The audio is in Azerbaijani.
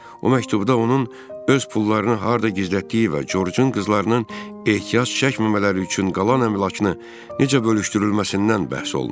O məktubda onun öz pullarını harda gizlətdiyi və Corcun qızlarının ehtiyac çəkməmələri üçün qalan əmlakını necə bölüşdürülməsindən bəhs olunur.